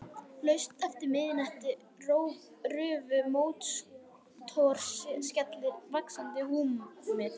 Laust eftir miðnætti rufu mótorskellir vaxandi húmið.